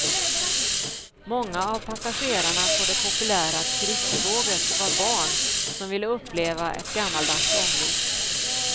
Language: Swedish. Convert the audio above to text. Många av passagerarna på det populära turisttåget var barn som ville uppleva ett gammaldags ånglok.